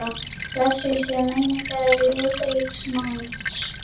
Blessuð sé minning litríks manns.